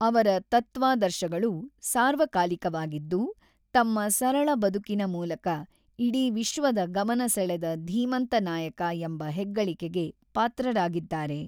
ಅವರ ತತ್ವಾದರ್ಶಗಳು ಸಾರ್ವಕಾಲಿಕವಾಗಿದ್ದು ತಮ್ಮ ಸರಳ ಬದುಕಿನ ಮೂಲಕ ಇಡಿ ವಿಶ್ವದ ಗಮನ ಸೆಳೆದ ಧೀಮಂತ ನಾಯಕ ಎಂಬ ಹೆಗ್ಗಳಿಕೆಗೆ ಪಾತ್ರರಾಗಿದ್ದಾರೆ.